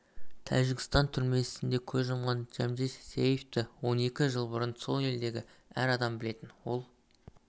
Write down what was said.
тәжікстан түрмесінде көз жұмған джамшед сияевты он екі жыл бұрын сол елдегі әр адам білетін ол